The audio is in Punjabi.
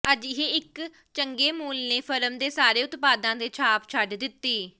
ਅਜਿਹੇ ਇੱਕ ਚੰਗੇ ਮੂਲ ਨੇ ਫਰਮ ਦੇ ਸਾਰੇ ਉਤਪਾਦਾਂ ਤੇ ਛਾਪ ਛੱਡ ਦਿੱਤੀ